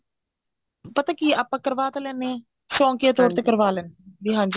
ਪਤਾ ਕਿ ਆਪਾਂ ਕਰਵਾ ਤਾਂ ਲੈਂਦੇ ਆ ਸ਼ੋੰਕੀਆ ਤੋਰ ਤੇ ਕਰਵਾ ਲੈਂਦੇ ਆ ਵੀ ਹਾਂਜੀ